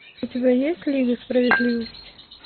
у тебя есть лига справедливости